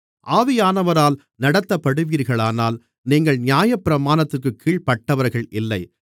ஆவியானவரால் நடத்தப்படுவீர்களானால் நீங்கள் நியாயப்பிரமாணத்திற்குக் கீழ்ப்பட்டவர்கள் இல்லை